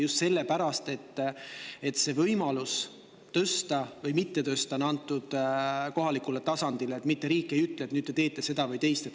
Just sellepärast, et võimalus tõsta või mitte tõsta on antud kohalikule tasandile, mitte riik ei ütle, et nüüd teete seda või teist.